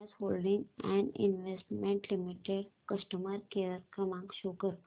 Bajaj holdings and investment limited customer care क्रमांक show कर